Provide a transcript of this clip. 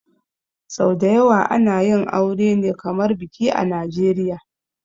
Sau dayawa ana yin aure ne kamar biki a najeria